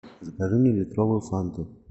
закажи мне литровую фанту